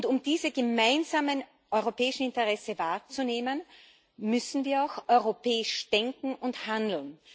Um diese gemeinsamen europäischen Interessen wahrzunehmen, müssen wir auch europäisch denken und handeln